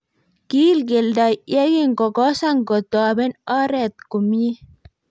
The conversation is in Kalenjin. kiil kelto ye kingokosan kotoben oret omiet.